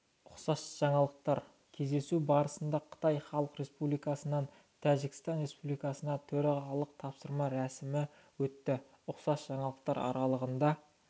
ұқсас жаңалықтар кездесу барысында қытай халық республикасынан тәжікстан республикасына төрағалығын тапсыру рәсімі өтті ұқсас жаңалықтар аралығында